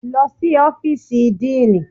Lọ sí ọ́fíìsì Dean!